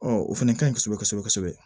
o fana ka ɲi kosɛbɛ kosɛbɛ kosɛbɛ